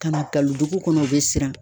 Ka na galon dugu kɔnɔ u bɛ siran